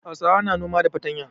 Hausawa na noma da fatanya.